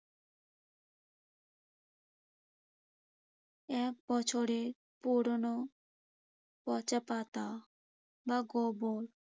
এক বছরের পুরোনো পচা পাতা বা গোবর।